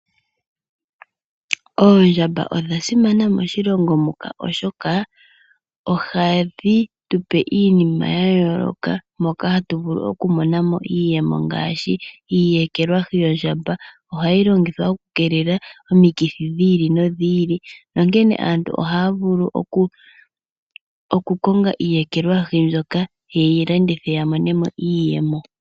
Oondjamba odha simana moshilongo muka oshoka ohadhi tupe iinima ya yooloka moka hatu vulu okumona mo iiyemo ngaashi iiyekelwahi yondjamba ohayi longithwa oku keelela omikithi dhi ili nodhi ili nonkene aantu ohaya vulu oku konga iiyekelwahi mbyoka ye yi landithe ya mone mo iiyemo.